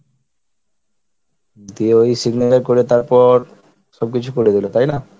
দিয়ে ওই signature করে তারপর সব কিছু করে দিল তাই না?